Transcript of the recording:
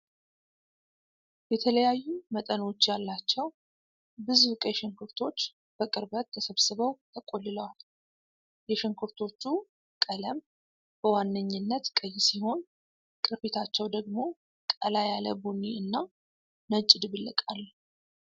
የተለያዩ መጠኖች ያላቸው ብዙ ቀይ ሽንኩርቶች በቅርበት ተሰብስበው ተቆልለዋል። የሽንኩርቶቹ ቀለም በዋነኝነት ቀይ ሲሆን፣ ቅርፊታቸው ደግሞ ቀላ ያለ ቡኒ እና ነጭ ድብልቅ አለው።